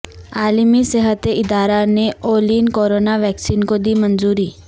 عالمی صحت ادارہ نے اولین کورونا ویکسین کو دی منظوری